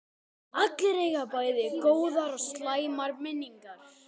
Allir eiga bæði góðar og slæmar minningar.